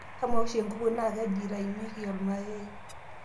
amaa oshi enkuku naa kaji eitaunye ilmayayi